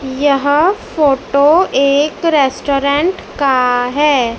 यह फोटो एक रेस्टोरेंट का है।